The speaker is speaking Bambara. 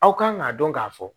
Aw kan k'a dɔn k'a fɔ